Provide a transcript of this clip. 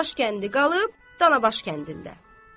Danabaş kəndi qalıb Danabaş kəndində.